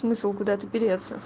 смысл куда то переться